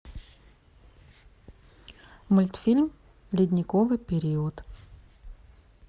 мультфильм ледниковый период